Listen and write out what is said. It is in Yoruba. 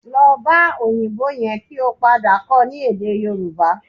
Lọ bá òyìnbó yẹn kí ó padà kọ́ ọ ní èdè Yorùbá